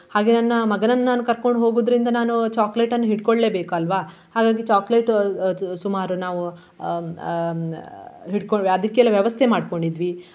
ಹಾಗೆ ನನ್ನ ಮಗನನ್ನು ನಾನು ಕರ್ಕೊಂಡು ಹೋಗುವುದ್ರಿಂದ ನಾನು chocolate ನ್ನು ಇಟ್ಕೊಳ್ಲೇ ಬೇಕಲ್ವ. ಹಾಗಾಗಿ chocolate ಅಹ್ ಅದು ಸುಮಾರು ನಾವು ಹ್ಮ್ ಹ್ಮ್ ಅಹ್ ಹಿಡ್ಕೊಂಡ್ವಿ ಅದಕ್ಕೆಲ್ಲ ವ್ಯವಸ್ಥೆ ಮಾಡ್ಕೊಂಡಿದ್ವಿ.